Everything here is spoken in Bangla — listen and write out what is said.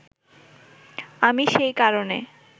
আমি সেই কারণে